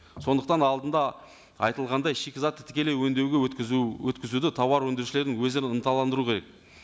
сондықтан алдында айтылғандай шикізатты тікелей өңдеуге өткізу өткізуді тауар өндірушілердің өздерін ынталандыру керек